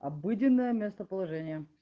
обыденное местоположение